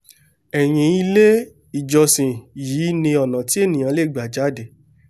ẹ̀yìn ilé-ìjọsìn yìí ni ọ̀nà tí ènìàá lè gbà jáde